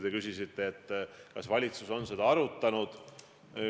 Te küsisite, kas valitsus on seda arutanud.